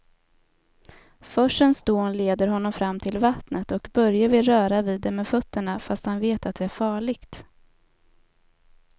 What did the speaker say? Forsens dån leder honom fram till vattnet och Börje vill röra vid det med fötterna, fast han vet att det är farligt.